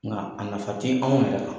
Nka a nafa te anw yɛrɛ kan.